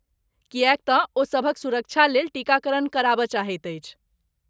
किएक तँ ओ सभक सुरक्षालेल टीकाकरण करबय चाहैत अछि।